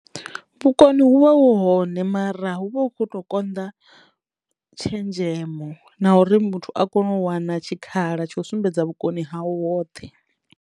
Vhukoni hu vha hu hone mara hu vha hu khou to konḓa tshenzhemo na uri muthu a kono u wana tshikhala tsho sumbedza vhukoni hawu hoṱhe.